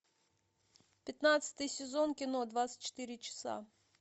пятнадцатый сезон кино двадцать четыре часа